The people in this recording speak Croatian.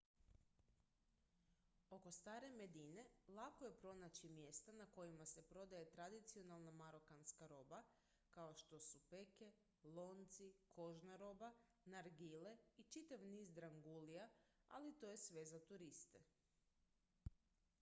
oko stare medine lako je pronaći mjesta na kojima se prodaje tradicionalna marokanska roba kao što su peke lonci kožna roba nargile i čitav niz drangulija ali to je sve za turiste